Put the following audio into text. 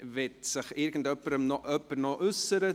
Möchte sich noch irgendjemand dazu äussern?